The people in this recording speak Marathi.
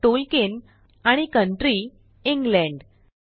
Tolkienआणि कंट्री इंग्लंड 4